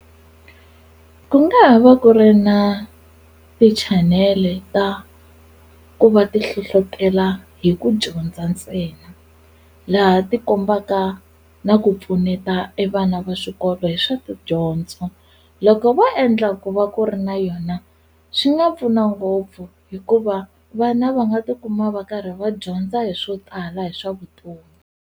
Ku nga ha va ku ri na ti-chanele ta ku va ti hlohlotela hi ku dyondza ntsena laha ti kombaka na ku pfuneta e vana va swikolo hi swa tidyondzo loko vo endla ku va ku ri na yona swi nga pfuna ngopfu hikuva vana va nga tikuma va karhi va dyondza hi swo tala hi swa vutomi.